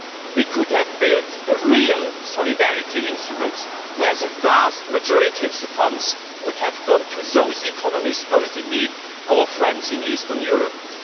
We could have built a real solidarity instrument, where the vast majority of the funds would have gone to those economies most in need our friends in eastern Europe.